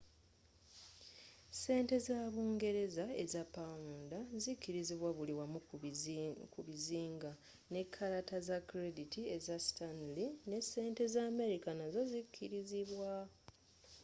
sente za bungereza eza pound zikirizibwa buli wamu ku bizinga ne kalata za credit eza stanley ne sente za amerika nazzo zikirizibwa